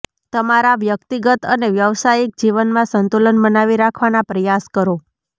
તમારા વ્યકતિગત અને વ્યવસાયિક જીવનમાં સંતુલન બનાવી રાખવાના પ્રયાસ કરો